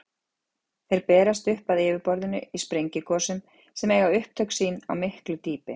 Þeir berast upp að yfirborðinu í sprengigosum sem eiga upptök sín á miklu dýpi.